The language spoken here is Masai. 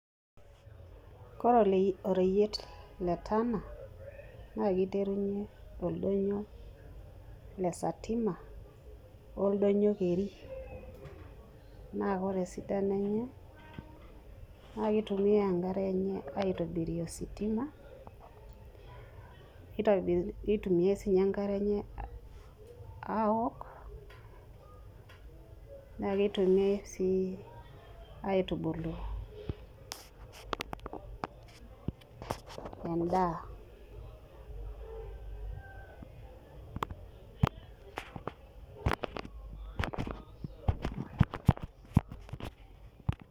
Ore oreyiet le Tana naa kiterunyie oldoinyio le Satima o oldoinyio keri naa ore esidano enye naa kitumiyai enkare enye aitobirie ositima nitumiai sii enkare enye aaok naa kitumiai sii airubulu endaa.